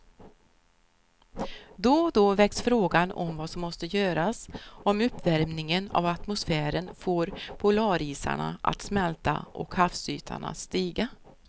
Då och då väcks frågan om vad som måste göras om uppvärmingen av atmosfären får polarisarna att smälta och havsytan att stiga.